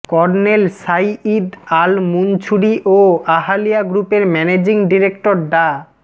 colonel Saeed Al Mansouri ও আহালিয়া গ্রুপের managing director ডা